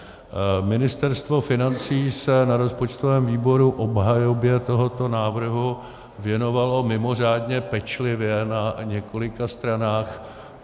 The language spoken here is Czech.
Ministerstvo financí se na rozpočtovém výboru obhajobě tohoto návrhu věnovalo mimořádně pečlivě na několika stranách.